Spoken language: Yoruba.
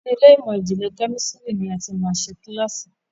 ní Ilé ìmọ̀n-jinlẹ Kẹ́mísìrì ní a tí má ṣe kilasi.